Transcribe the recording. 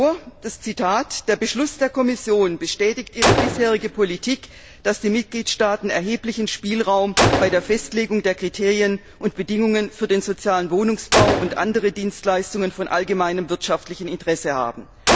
Ich lese das Zitat vor Der Beschluss der Kommission bestätigt ihre bisherige Politik, dass die Mitgliedstaaten erheblichen Spielraum bei der Festlegung der Kriterien und Bedingungen für den sozialen Wohnungsbau und andere Dienstleistungen von allgemeinem wirtschaftlichen Interesse haben.